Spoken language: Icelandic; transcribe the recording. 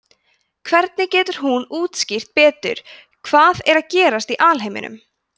hvernig getur hún útskýrt betur hvað er að gerast í alheiminum